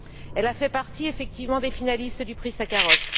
Elle a fait partie, effectivement, des finalistes du prix Sakharov.